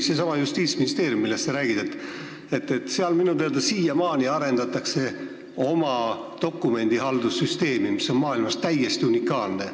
Sellessamas Justiitsministeeriumis, millest sa rääkisid, arendatakse minu teada siiamaani oma dokumendihaldussüsteemi, mis on maailmas täiesti unikaalne.